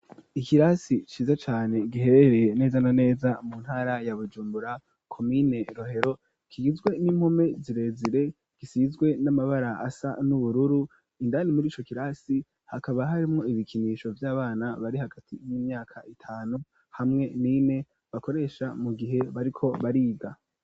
Ikirasi ciza cane giherereye neza na neza mu ntara ya Bujumbura komine Rohero, kigizwe n'impome zirezire gisizwe n'amabara asa n'ubururu, indani muri co kirasi hakaba harimwo ibikinisho vy'abana bari hagati y'imyaka itanu hamwe nine bakoresha mu gihe bariko bariga.